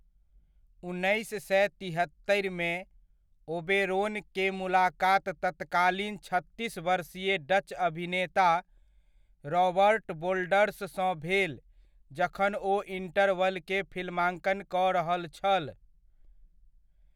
उन्नैस सए तिहत्तरिमे, ओबेरोन के मुलाकात तत्कालीन छत्तीस वर्षीय डच अभिनेता रॉबर्ट वोल्डर्स सँ भेल जखन ओ इंटरवल के फिल्मांकन कऽ रहल छल।